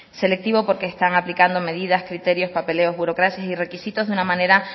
selectivos porque están aplicando medidas criterios papeleos burocracia y requisitos de una manera